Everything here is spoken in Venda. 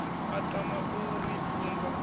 a tama u ri funza